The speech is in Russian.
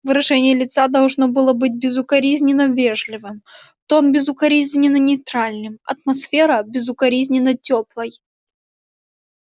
выражение лица должно было быть безукоризненно вежливым тон безукоризненно нейтральным атмосфера безукоризненно тёплой